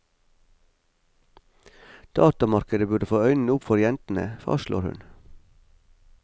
Datamarkedet burde få øynene opp for jentene, fastslår hun.